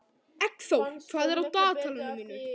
Eggþór, hvað er á dagatalinu mínu í dag?